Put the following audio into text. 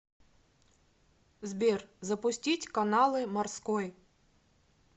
сбер запустить каналы морской